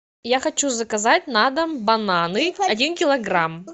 я хочу заказать на дом бананы один килограмм